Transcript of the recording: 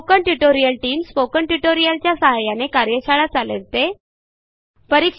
spoken tutorial team tutorials च्या सहाय्याने कार्यशाळा चालविते